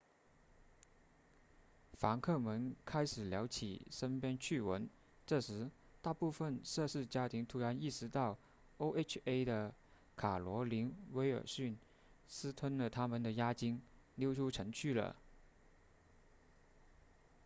房客们开始聊起身边趣闻这时大部分涉事家庭突然意识到 oha 的卡罗琳威尔逊私吞了他们的押金溜出城去了